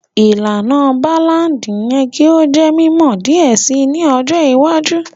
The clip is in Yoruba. Ìlànà Ballad yẹ ki o jẹ mimọ diẹ sii ni ọjọ iwájú